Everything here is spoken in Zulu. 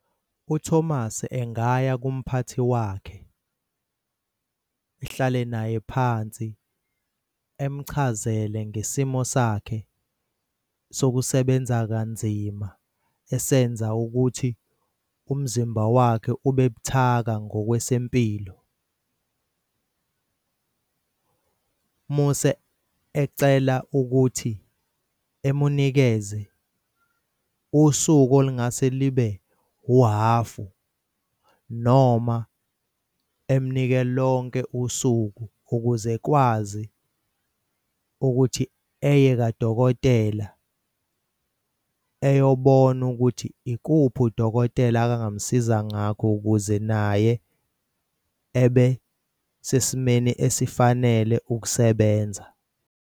UThomas engaya kumphathi wakhe, ehlale naye phansi emuchazele ngesimo sakhe sokusebenza kanzima esenza ukuthi umzimba wakhe ube buthaka ngokwesempilo. Muse ecela ukuthi emunikeze usuku olungase libe uhhafu noma emnikeze lonke usuku ukuze ekwazi ukuthi eye kadokotela eyobona ukuthi ikuphi udokotela akangamsiza ngakho, ukuze naye ebe sesimeni esifanele ukusebenza.